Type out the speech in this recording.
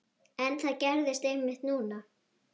En það gerðist einmitt núna.